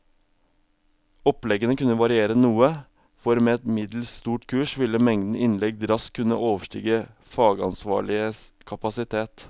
Oppleggene kunne variere noe, for med et middels stort kurs ville mengden innlegg raskt kunne overstige fagansvarliges kapasitet.